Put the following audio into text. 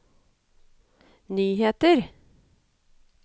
nyheter